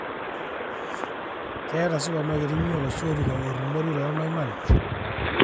keeta supermarket inyi oloshi orika orumori olmaiman